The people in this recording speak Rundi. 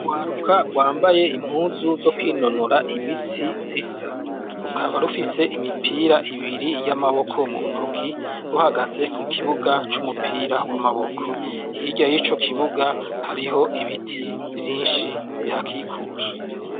Urwaruka rwambaye impuzu zo kwinonora imitsi zisa. Rukaba rufise imipira ibiri y' amaboko mu ntoki, ruhagaze ku kibuga c' umupira w' amaboko. Hirya y'ico kibuga hariho ibiti vyinshi bihakikuje.